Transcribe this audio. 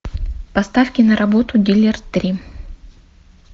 поставь киноработу дилер три